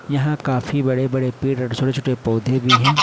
यहां काफी बड़े बड़े पेड़ और छोटे छोटे पौधे भी हैं।